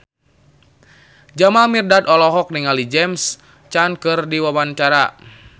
Jamal Mirdad olohok ningali James Caan keur diwawancara